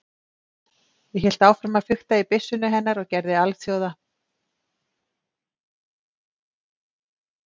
Ég hélt áfram að fikta í byssunni hennar og gerði alþjóða